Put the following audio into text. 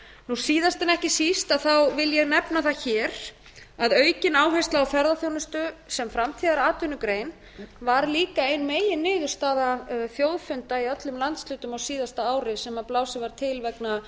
síðast en ekki síst vil ég nefna það hér að aukin áhersla á ferðaþjónustu sem framtíðaratvinnugrein var líka ein meginniðurstaða þjóðfunda í öllum landshlutum á síðasta ári sem blásið var til vegna